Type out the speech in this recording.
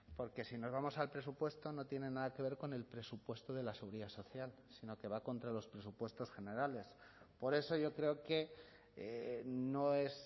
porque si nos vamos al presupuesto no tiene nada que ver con el presupuesto de la seguridad social sino que va contra los presupuestos generales por eso yo creo que no es